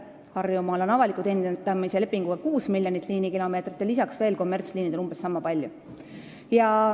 Harjumaal on avaliku teenindamise lepinguga hõlmatud 6 miljonit liinikilomeetrit ja kommertsliinidega veel lisaks umbes niisama palju.